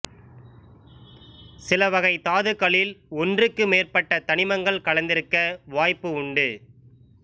சிலவகை தாதுக்களில் ஒன்றுக்கு மேற்பட்ட தனிமங்கள் கலந்திருக்க வாய்ப்பு உண்டு